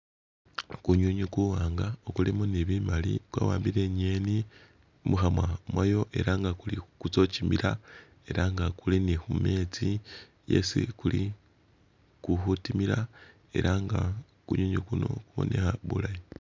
Kunywinywi kuwanga ukulimo ne bimali kwawambile ingeni mukhamwa khayo ela nga kuli kutsa khukimila ela nga kuli ne khumetsi yesi kuli ku khutimila ela nga kunywinywi kuno kubonekha bulayi.